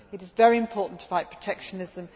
It is very important to fight protectionism